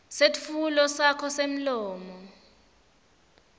setfulo sakho semlomo